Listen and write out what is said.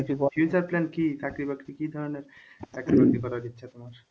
future plan কি চাকরি বাকরি কি ধরনের চাকরি বাকরি করার ইচ্ছা তোমার?